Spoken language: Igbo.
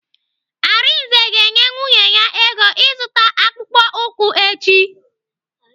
Arinze ga-enye nwunye ya ego ịzụta akpụkpọ ụkwụ echi.